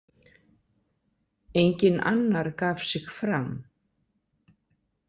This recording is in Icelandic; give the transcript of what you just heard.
Enginn annar gaf sig fram.